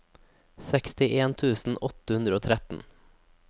sekstien tusen åtte hundre og tretten